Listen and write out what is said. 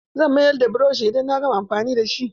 Zan mayar da burushin idan na gama amfani da shi.